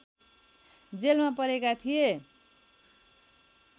जेलमा परेका थिए